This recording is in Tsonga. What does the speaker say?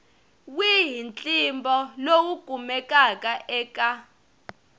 wihi ntlimbo lowu kumekaka eka